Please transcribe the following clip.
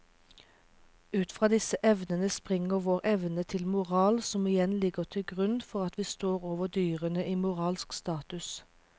Ut fra disse evnene springer vår evne til moral som igjen ligger til grunn for at vi står over dyrene i moralsk status.